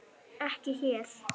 Ekki hér.